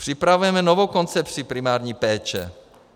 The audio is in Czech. Připravujeme novou koncepci primární péče.